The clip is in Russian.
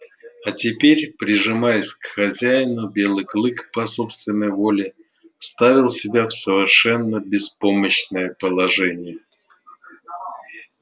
а теперь прижимаясь к хозяину белый клык по собственной воле ставил себя в совершенно беспомощное положение